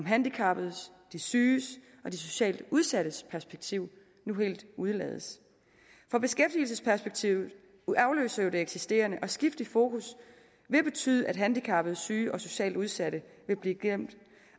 handicappedes de syges og de socialt udsattes perspektiv nu helt udlades for beskæftigelsesperspektivet afløser jo det eksisterende og et skift i fokus vil betyde at handicappede syge og socialt udsatte vil blive glemt